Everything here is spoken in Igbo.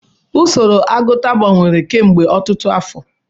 Usoro agụta gbanwere kemgbe ọtụtụ afọ.